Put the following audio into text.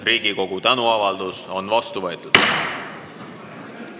Riigikogu tänuavaldus on vastu võetud.